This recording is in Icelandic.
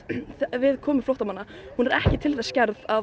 við komu flóttamanna hún er ekki til þess gerð að